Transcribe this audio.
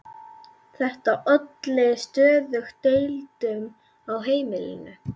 Þetta olli stöðugum deilum á heimilinu.